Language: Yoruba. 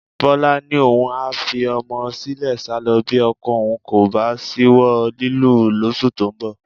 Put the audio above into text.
Bọ́lá ni òun a fi ọmọ sílẹ̀ sálọ bí ọkọ òun kò bá ṣíwọ́ lílù ú lóṣù tó ń bọ̀